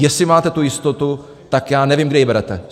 Jestli máte tu jistotu, tak já nevím, kde ji berete.